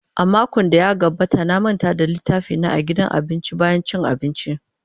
A makon da ya gabata na manta littafina a gidan abinci bayan cin abinci.